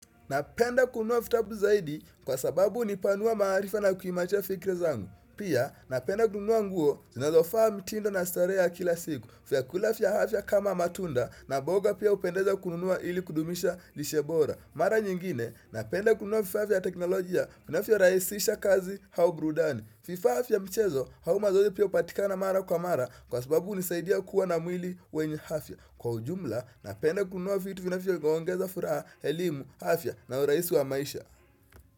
Napenda kununua fitabu zaidi kwa sababu hunipanua maarifa na kuimarisha fikra zangu. Pia napenda kununua nguo zinazofaa mtindo na starehe kila siku. Fyakulafia afya kama matunda na boga pia hupendeza kununua ili kudumisha lishebora. Mara nyingine napenda kununua fifaa fia teknolojia. Finafyo rahisisha kazi hauburudani. Fifaafia mchezo hauma zoezi pia upatikana mara kwa mara kwa sababu hunisaidia kuwa na mwili wenye hafya. Kwa ujumla na penda kunua fitu vinafyo iongeza furaha, elimu, hafya na uraisi wa maisha.